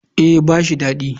Eh ba shi dadi.